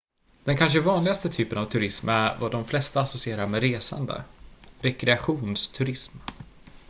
den kanske vanligaste typen av turism är vad de flesta associerar med resande rekreationsturism